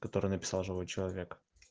который написал живой человек